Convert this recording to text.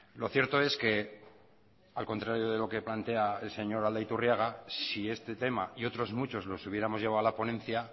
lo cierto es que al contrario de lo que plantea el señor aldaiturriaga si este tema y otros muchos los hubiéramos llevado a la ponencia